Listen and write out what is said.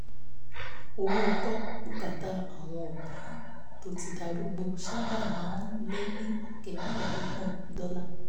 owó gbọ́ bùkátà àwọn òbí tó ti darúgbó sábà máa ń lé ní ọ̀kẹ́ mẹ́ẹ̀ẹ́dọ́gbọ̀n dọ́là